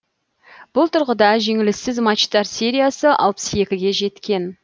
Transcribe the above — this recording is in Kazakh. бұл тұрғыдағы жеңіліссіз матчтар сериясы алпыс екіге жеткен